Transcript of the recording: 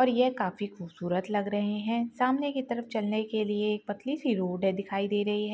और ये काफी खूबसूरत लग रहे है सामने की तरफ चलने के लिए एक पतली सी रोड दिखाई दे रही है।